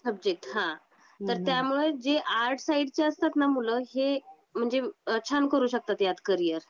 ते सब्जेक्ट हां. तर त्यामुळे जे आर्ट्स साइडचे असतात ना मुलं हे म्हणजे छान करू शकतात ह्यात करियर.